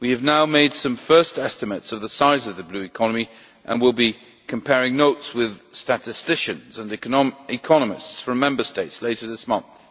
We have now made some first estimates of the size of the Blue Economy and will be comparing notes with statisticians and economists from Member States later this month.